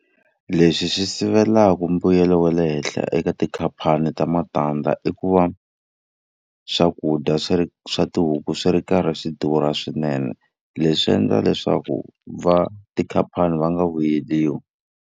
Leswi swi sivelaka mbuyelo wa le henhla eka tikhamphani ta matandza i ku va swakudya swi ri swa tihuku swi ri karhi swi durha swinene. Leswi endla leswaku va tikhamphani va nga vuyeriwi.